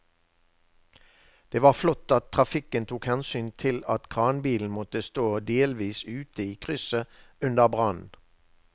Det var flott at trafikken tok hensyn til at kranbilen måtte stå delvis ute i krysset under brannen.